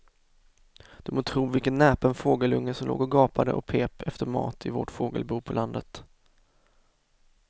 Du må tro vilken näpen fågelunge som låg och gapade och pep efter mat i vårt fågelbo på landet.